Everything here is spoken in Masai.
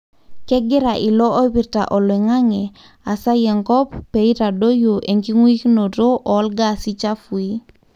kengira ilo ipirta olingange asai enkop peitadoyuo enguikinoto olgasi chafui.